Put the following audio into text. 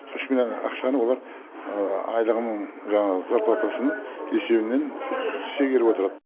үш миллион ақшаны олар айлығының жаңағы зарплатасының есебінен шегеріп отырады